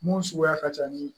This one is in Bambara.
Mun suguya ka ca ni